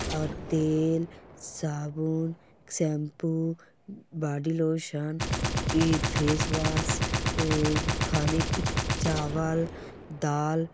और तेल साबुन शैम्पू ब-बोडीलॉशन के फेसवाश अ खाने की चावल दाल।